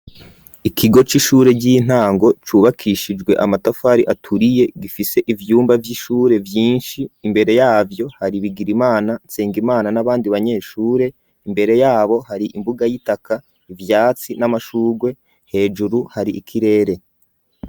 Ikigo c'ishure ry'intango cubakishijwe amatafari aturiye gifise ivyumba vy'ishure vyinshi imbere yavyo hari Bigirimana, Nsengimana n'abandi banyeshure imbere yabo hari imbuga y'itaka, ivyatsi n'amashugwe hejuru hari ikirere.